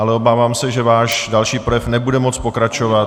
Ale obávám se, že váš další projev nebude moct pokračovat.